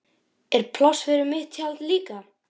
Er pláss fyrir mitt tjald líka?